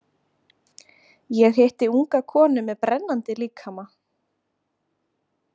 Ég hitti unga konu með brennandi líkama.